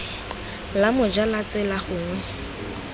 la moja la tsela gongwe